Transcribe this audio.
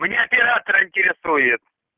меня оператор интересует